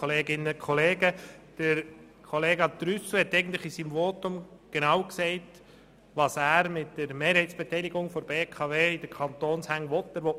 Trüssel hat mit seinem Votum klar gesagt, was er mit der Mehrheitsbeteiligung des Kantons an der BKW will: